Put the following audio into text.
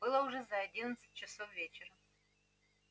было уже за одиннадцать часов вечера